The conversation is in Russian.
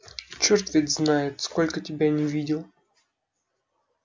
черт ведь знает сколько тебя не видел